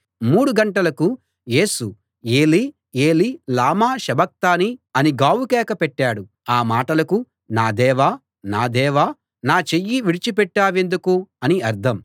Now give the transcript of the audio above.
మూడు గంటలకు యేసు ఏలీ ఏలీ లామా సబక్తానీ అని గావుకేక పెట్టాడు ఆ మాటలకు నా దేవా నా దేవా నా చెయ్యి విడిచిపెట్టావెందుకు అని అర్థం